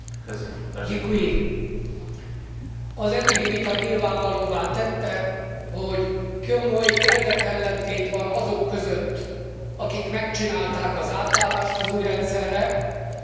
Az eddigi vita nyilvánvalóvá tette, hogy komoly érdekellentét van azok között, akik megcsinálták az átállást az új rendszerre és azok között, akik még ezt nem tették meg.